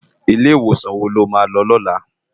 Ilé Iwósan wó ló má lò lòlá?